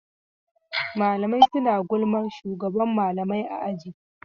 Mlaamai suna gulman shugaban malamai a aji.